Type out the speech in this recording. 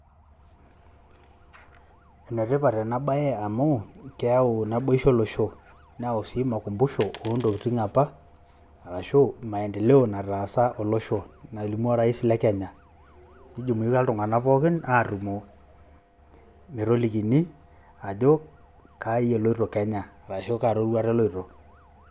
Ene tipat ena bae amuu keyau naboisho olosho, neyau sii makumbusho oontokitin apa arashu maendeleo nataasa olosho nalimu orais le Kenya. Nijumuika iltung'anak pooki aatumo metolikini ajo kai eloito Kenya arashu kaa roruata eloito